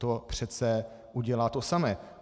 To přece udělá to samé.